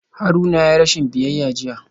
Haruna yayi rashin biyayya jiya